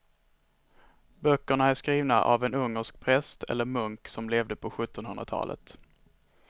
Böckerna är skrivna av en ungersk präst eller munk som levde på sjuttonhundratalet.